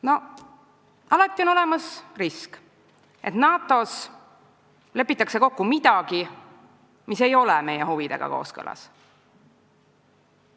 No alati on olemas risk, et NATO-s lepitakse kokku midagi, mis ei ole meie huvidega kooskõlas.